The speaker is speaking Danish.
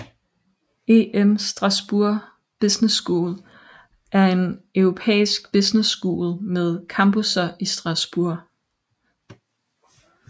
EM Strasbourg Business School er en europæisk business school med campusser i Strasbourg